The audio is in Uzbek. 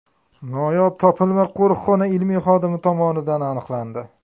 Noyob topilma qo‘riqxona ilmiy xodimi tomonidan aniqlandi.